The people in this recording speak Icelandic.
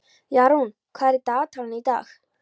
Jarún, hvað er í dagatalinu í dag?